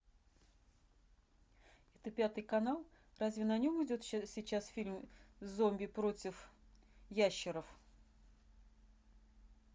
это пятый канал разве на нем идет сейчас фильм зомби против ящеров